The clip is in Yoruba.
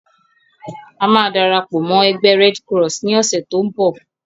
A máa darapọ̀ mọ́ ẹgbẹ́ "Red Cross" ni ọ̀sẹ̀ to ń bọ̀.